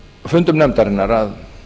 fundum nefndarinnar að